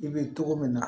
I bɛ togo min na